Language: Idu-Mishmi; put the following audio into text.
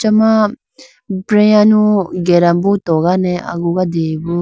achama breyanu gerambo togane agugadeyi bo.